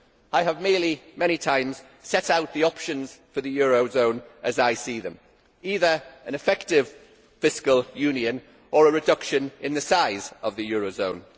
I have merely many times set out the options for the eurozone as I see them either an effective fiscal union or a reduction in the size of the eurozone.